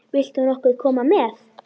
Vilt þú nokkuð koma með?